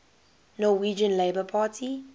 norwegian labour party